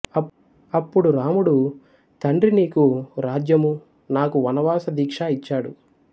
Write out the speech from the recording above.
అప్పుడు రాముడు తండ్రి నీకు రాజ్యమూ నాకు వనవాస దీక్షా ఇచ్చాడు